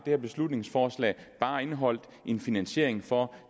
her beslutningsforslag bare indeholdt en finansiering for